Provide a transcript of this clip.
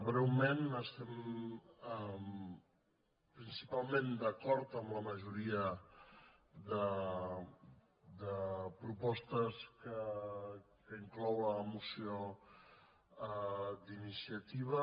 breument estem principalment d’acord amb la majoria de propostes que inclou la moció d’iniciativa